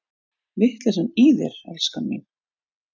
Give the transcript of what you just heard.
Vitleysan í þér, elskan mín!